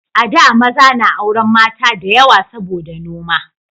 A da maza na auren mata da yawa saboda noma